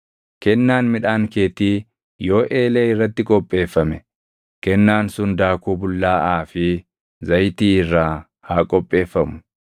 Kennaan midhaan keetii yoo eelee irratti qopheeffame, kennaan sun daakuu bullaaʼaa fi zayitii irraa haa qopheeffamu.